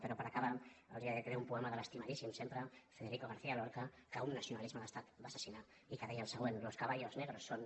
però per acabar els dedicaré un poema de l’estimadíssim sempre federico garcía lorca que un nacionalisme d’estat va assassinar i que deia el següent los caballos negros son